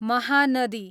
Mahanadi